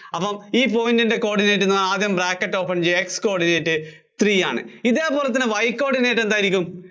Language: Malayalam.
അപ്പം ഈ point ന്‍റെ coordinate എന്നാല്‍ ആദ്യം bracket open ചെയ്യുക, x coordinate three ആണ്. ഇതേപോലെ തന്നെ Y coordinate എന്തായിരിക്കും?